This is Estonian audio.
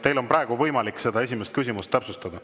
Teil on praegu võimalik seda esimest küsimust täpsustada.